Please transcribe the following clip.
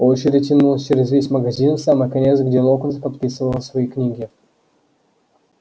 очередь тянулась через весь магазин в самый конец где локонс подписывал свои книги